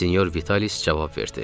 Senyor Vitalis cavab verdi: